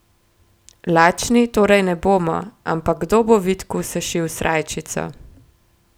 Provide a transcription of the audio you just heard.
Lačni torej ne bomo, ampak kdo bo Vidku sešil srajčico?